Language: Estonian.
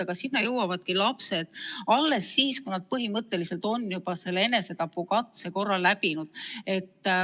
Aga sinna jõuavadki lapsed enamasti alles siis, kui nad on juba enesetapukatse korra teinud.